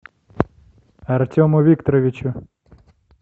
артему викторовичу